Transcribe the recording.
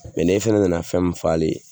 n'e fana nana fɛn min fɔ ale ye